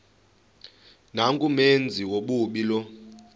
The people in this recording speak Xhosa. nangumenzi wobubi lowo